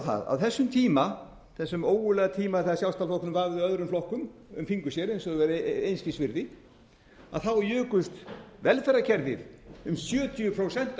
það að á þessum tíma þessum ógurlega tíma þegar sjálfstæðisflokkurinn vafði öðrum flokkum um fingur sér eins og þeir væru einskis virði jukust velferðarkerfið um sjötíu prósent að